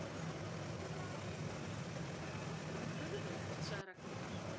Furðulegt sagði Ragnhildur.